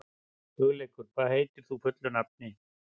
Hugleikur, hvað heitir þú fullu nafni?